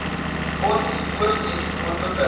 fonds voorsien onbeperkte